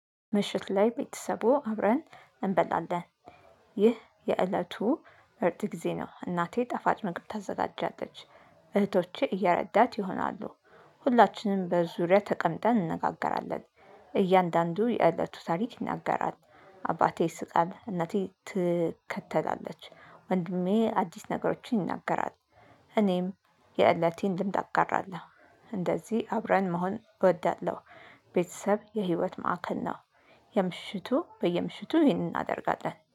ምሽት ላይ ቤተሰቡ አብረን እንበላለን። ይህ የእለቱ ምርጥ ጊዜ ነው። እናቴ ጣፋጭ መግብ ታዘጋጃለች። እህቶቼ ረዳት ይሆናሉ። ሁላችንም በዙሪያ ተቀምጠን እንነጋገራለን። እያንዳንዱ የእለቱ ታሪክ ይናገራል። አባቴ ይስቃል እናቴ ትከተላለች። ወንድሜ አዲስ ነገሮችን ይናገራል። እኔም የእለቴን ልምድ አጋራለው። እንደዚህ አብረን መሆን እወዳለሁ። ቤተሰብ የህይወት ማዕከል ነው። የምሽቱ በየምሽቱ ይህንን እናደርጋለን